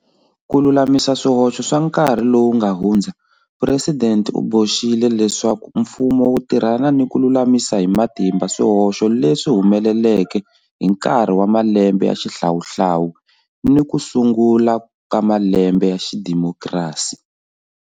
Ku lulamisa swi hoxo swa nkarhi lowu nga hundza Presidente u boxile leswaku mfumo wu tirhana ni ku lulamisa hi matimba swihoxo leswi humeleleke hi nkarhi wa malembe ya xihlawuhlawu ni hi ku sungula ka malembe ya xidemokirasi.